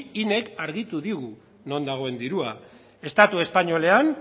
inek argitu digu non dagoen dirua estatu espainolean